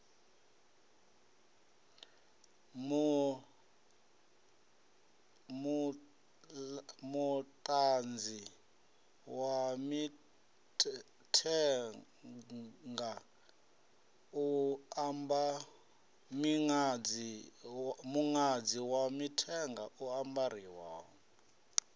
muṅadzi wa mithenga u ambarwaho